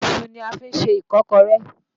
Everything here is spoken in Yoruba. Iṣu ni a fi ń ṣe ìkọ́kọré.